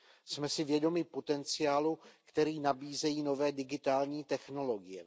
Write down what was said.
Jsme si vědomi potenciálu, který nabízejí nové digitální technologie.